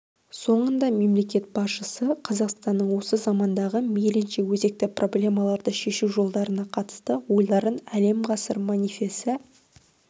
соңында мемлекет басшысы қазақстанның осы замандағы мейлінше өзекті проблемаларды шешу жолдарына қатысты ойларын әлем ғасыр манифесі